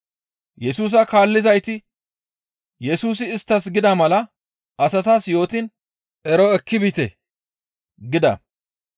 Yesusa kaallizayti Yesusi isttas gida mala asatas yootiin ero ekki biite gida.